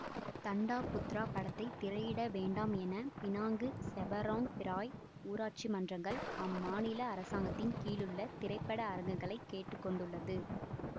தண்டா Putra படத்தை திரையிட வேண்டாம் என பினாங்கு செபராங் பிராய் ஊராட்சி மன்றங்கள் அம்மாநில அரசாங்கத்தில் கீழுள்ள திரைப்பட அரங்குகளைக் கேட்டு கொண்டுள்ளது